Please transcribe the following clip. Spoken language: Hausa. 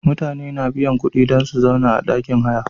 Mutane suna biya kuɗi dan su sauna a ɗakin haya.